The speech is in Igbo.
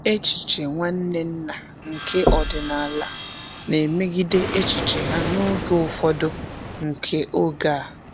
Echiche Nwanne nna nke ọdịnala na-emegide echiche ha n'oge ufọdu nke oge a.